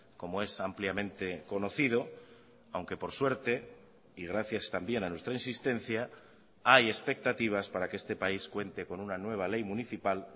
como es ampliamente conocido aunque por suerte y gracias también a nuestra insistencia hay expectativas para que este país cuente con una nueva ley municipal